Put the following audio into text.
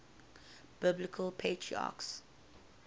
biblical patriarchs